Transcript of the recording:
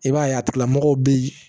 I b'a ye a tigilamɔgɔw bɛ yen